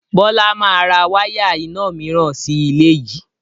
Bọlá máa ra wáyà ìna mìíràn sì ilé yìí